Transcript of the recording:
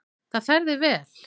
Það fer þér vel.